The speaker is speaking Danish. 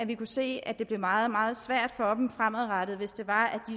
vi kunne se at det blev meget meget svært for dem fremadrettet hvis de